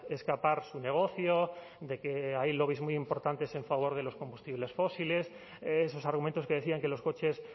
escapar su negocio de que hay lobbies muy importantes en favor de los combustibles fósiles esos argumentos que decían que los coches